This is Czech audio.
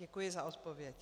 Děkuji za odpovědi.